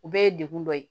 U bɛɛ ye degun dɔ ye